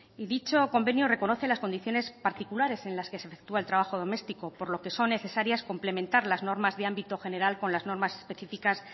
dicho convenio reconoce las condiciones particulares en las que se efectúa el trabajo domestico por lo que son necesarias complementar las normas de ámbito general con las normas específicas